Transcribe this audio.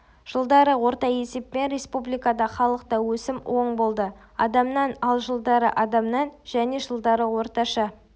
жылдары орта есеппен республикада халықта өсім оң болды адамнан ал жылдары адамнан және жылдары орташа